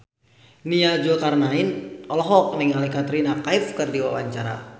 Nia Zulkarnaen olohok ningali Katrina Kaif keur diwawancara